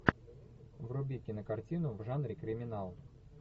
вруби кинокартину в жанре криминал